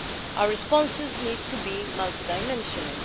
Our responses need to be multidimensional.